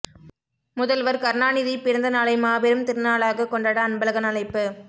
முதல்வர் கருணாநிதி பிறந்த நாளை மாபெரும் திருநாளாக கொண்டாட அன்பழகன் அழைப்பு